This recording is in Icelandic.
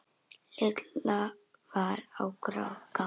Lilla var á gatinu.